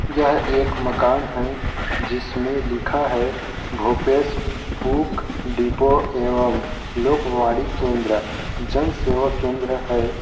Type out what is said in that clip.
यह एक मकान है जिसमें लिखा है भूपेश बू-- बुक डिपो एवं लोकवाणी केंद्र जन सेवा केन्द्र हैं ।